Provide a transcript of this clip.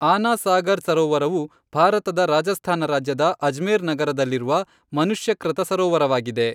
ಆನಾ ಸಾಗರ್ ಸರೋವರವು ಭಾರತದ ರಾಜಸ್ಥಾನ ರಾಜ್ಯದ ಅಜ್ಮೇರ್ ನಗರದಲ್ಲಿರುವ ಮನುಷ್ಯಕೃತ ಸರೋವರವಾಗಿದೆ.